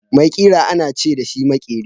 Mai ƙira ana ce dashi makeri.